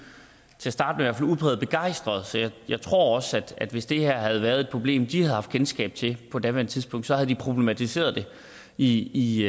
til at starte med udpræget begejstrede så jeg tror også at hvis det her havde været et problem de havde haft kendskab til på daværende tidspunkt så havde de problematiseret det i